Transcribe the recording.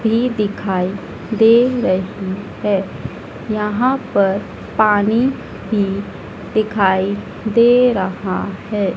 भी दिखाई दे रही है यहां पर पानी भी दिखाई दे रहा है।